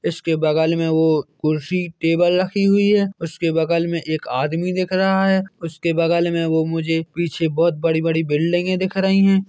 इसके बगल में वो कुर्सी टेबल रखी हुई है उसके बगल में एक आदमी दिख रहा है उसके बगल में वो मुझे पीछे बोहत बड़ी बड़ी बिल्डिंगे दिख रही है।